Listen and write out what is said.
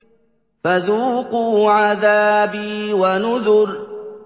فَذُوقُوا عَذَابِي وَنُذُرِ